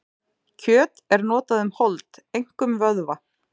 Kjöt er notað um hold, einkum vöðva.